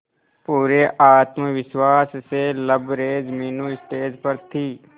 पूरे आत्मविश्वास से लबरेज मीनू स्टेज पर थी